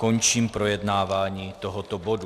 Končím projednávání tohoto bodu.